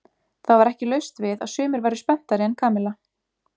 Það var ekki laust við að sumir væru spenntari en Kamilla.